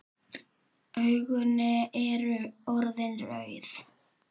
Augun eru orðin rauð.